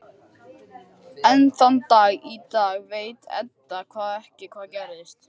Enn þann dag í dag veit Edda ekki hvað gerðist.